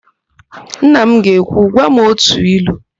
Nna m ga-ekwu, "gwa m ótù ilu"!